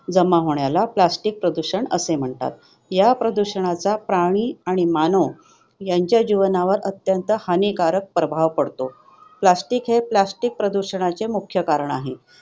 जमा होण्याला plastic प्रदूषण म्हणतात. या प्रदूषणाचा प्राणी आणि मानव यांच्या जीवनावर अत्यंत हानिकारक प्रभाव पडतो. Plastic हे plastic प्रदूषणाचे मुख्य कारण आहे.